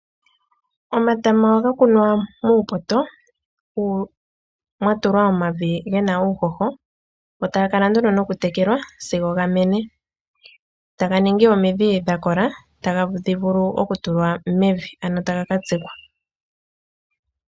Omatama ohaga kunwa muupoto mwatulwa omavi ge na uuhoho go taga kala nduno nokutekelwa sigo ga mene taga ningi omidhi dhakola tadhi vulu okutulwa mevi ano taga ka tsikwa.